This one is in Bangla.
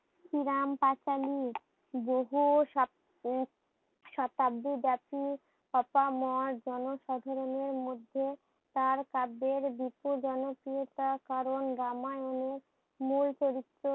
শ্রীরাম পাঁচালি বহু সপ শতাব্দী জাতি জনসাধারণের মধ্যে তার কাব্যের বিপুল জনপ্রিয়তা কারণ রামায়ণে মূল চরিত্র